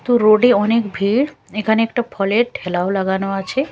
তো রোড -এ অনেক ভিড় এখানে একটা ফলের ঠ্যালাও লাগানো আছে।